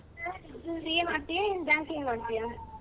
CA ಮಾಡ್ತಿಯಾ ಏನ್ Banking ಮಾಡ್ತಿಯಾ?